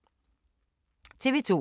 TV 2